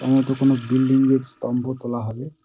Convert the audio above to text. সম্ভবত কোন বিল্ডিং -এর স্তম্ভ তোলা হবে।